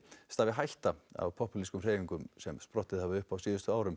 stafi hætta af pópúlískum hreyfingum sem sprottið hafa upp á síðustu árum